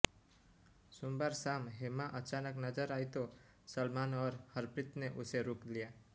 सोमवार शाम हेमा अचानक नजर आई तो सलमान और हरप्रीत ने उसे रोक लिया